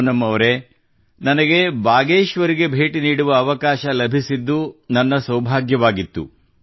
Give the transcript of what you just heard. ಪೂನಂ ಅವರೇ ನನಗೆ ಬಾಗೇಶ್ವರ್ ಗೆ ಭೇಟಿ ನೀಡುವ ಅವಕಾಶ ಲಭಿಸಿದ್ದು ನನ್ನ ಸೌಭಾಗ್ಯವಾಗಿತ್ತು